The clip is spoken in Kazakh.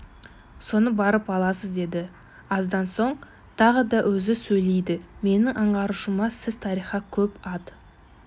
соны барып аласыз деді аздан соң тағы да өзі сөйледі менің аңғаруымша сіз тарихқа көп ат